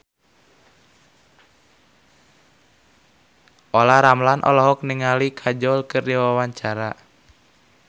Olla Ramlan olohok ningali Kajol keur diwawancara